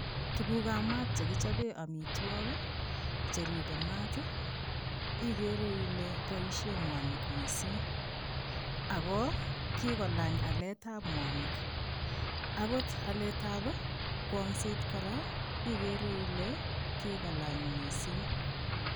Tuguuk ab maat chekichapeen amitwagiik che ripee maat ii igere Ile boisheen mwanig missing ago kigolaany aleet ab mwanig akoot alet ab kwongset kora igere Ile kikolaany missing .